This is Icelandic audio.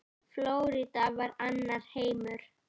Flórída var annar heimur.